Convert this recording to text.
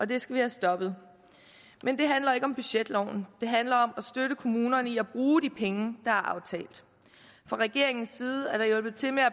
det skal vi have stoppet men det handler ikke om budgetloven det handler om at støtte kommunerne i at bruge de penge der er aftalt fra regeringens side er der hjulpet til med at